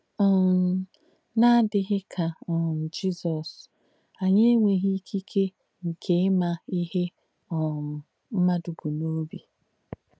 um N’àdíghì kà um Jísọ̀s, ànyì ènwéghī ìkìkè nkè ìmà íhe um m̀madù bù n’óbī.